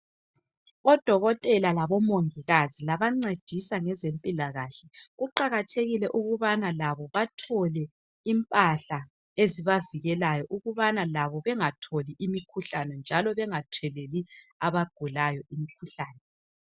Odokotela labomongikazi labancedisa ngezempilakahle, kuqakathekile ukubana labo bathole impahla ezibavikelayo ukubana labo bengatholi imikhuhlane njalo bengatheleli abagulayo imikhuhlane.